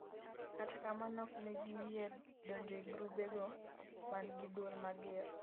kata kamano oknegi yie donjo ei grube go mangi duol mager